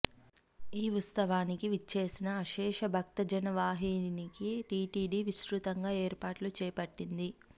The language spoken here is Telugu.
ఈ ఉత్సవానికి విచ్చేసిన అశేష భక్తజనవాహినికి టిటిడి విస్తృతంగా ఏర్పాట్లు చేపట్టింది